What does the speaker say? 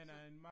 Så